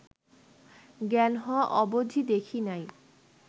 জ্ঞান হওয়া অবধি দেখি নাই